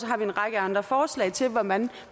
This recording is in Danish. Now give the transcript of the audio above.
har vi en række andre forslag til hvordan